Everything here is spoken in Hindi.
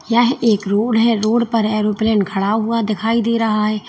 यह एक रोड है रोड पर एरोप्लेन खड़ा हुआ दिखाई दे रहा है।